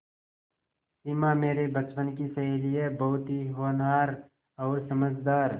सिमा मेरे बचपन की सहेली है बहुत ही होनहार और समझदार